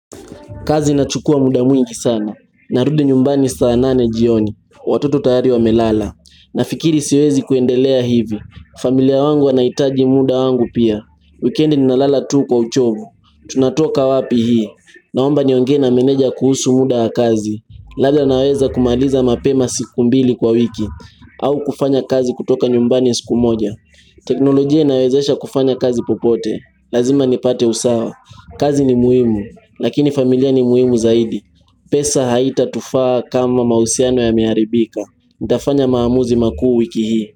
Kazi inachukua muda mwingi sana. Narudi nyumbani saanane jioni. Watoto tayari wamelala. Nafikiri siwezi kuendelea hivi. Familia wangu wanaitaji muda wangu pia. Weekendi ninalala tuu kwa uchovu. Tunatoka wapi hii. Naomba niongee na meneja kuhusu muda kazi. Lada naweza kumaliza mapema siku mbili kwa wiki. Au kufanya kazi kutoka nyumbani siku moja. Teknolojia inawezesha kufanya kazi popote Lazima nipate usawa kazi ni muhimu Lakini familia ni muhimu zaidi pesa haitatufaa kama mahusiano yameharibika Nitafanya maamuzi makuu wiki hii.